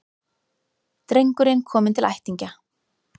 Drengurinn kominn til ættingja